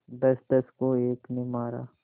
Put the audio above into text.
दसदस को एक ने मारा